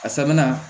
A sabanan